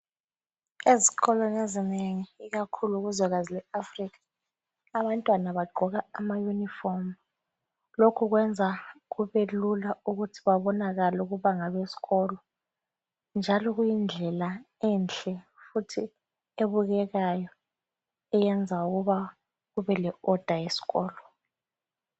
Ezikolweni ezinengi ikakhulu kuzwekazi leAfrica abantwana bagqoka ama uniform. Lokhu kwenza kube lula ukuthi babonakale ukuthi ngabesikolo njalo kuyindlela enhle futhi ebukekayo eyenza ukuthi kube le order eskolo.